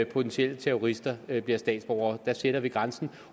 potentielle terrorister bliver statsborgere der sætter vi grænsen